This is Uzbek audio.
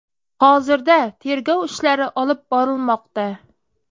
Hozirda tergov ishlari olib borilmoqda.